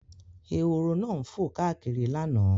Ehoro náà fò káàkiri lánàá.